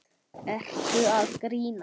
Ertu að grínast?